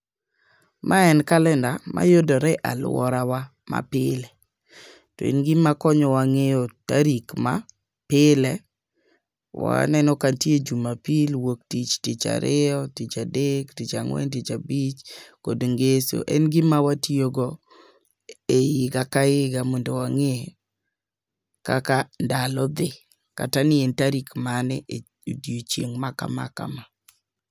Mae en kalenda mayudore e alworawa mapile. To en gima konyowa ng'eyo tarik ma pile, waneno ka nitie jumapil, wuoktich, ticha ariyo, ticha adek, ticha ang'wen, ticha abich kod ngeso. En gima watiyogo ei higa ka higa mondo wang'e kaka ndalo dhi, kata ni en tarik mane e odiechieng' ma kama kama.